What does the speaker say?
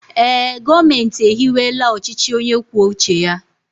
ee, gọọmenti ehiwela ọchịchị onye kwuo uche ya